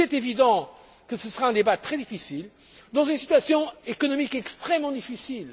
Il est évident que ce sera un débat très complexe, dans une situation économique extrêmement difficile.